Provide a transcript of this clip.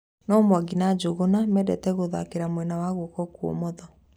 No Mwangi na Njunguna mĩndĩtĩ gũthakĩra mwena wa guoko kũomotho